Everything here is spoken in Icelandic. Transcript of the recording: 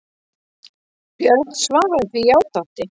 Björn svaraði því játandi.